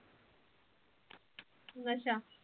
ਅੱਛਾ